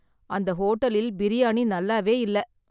அந்த ஹோட்டலில் பிரியாணி நல்லாவே இல்ல.